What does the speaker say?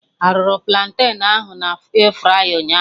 Arụrụ platen ahụ na airfryer ụnyaahụ?